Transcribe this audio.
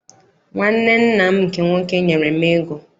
Nwanne nna m nke nwoke nyere m ego.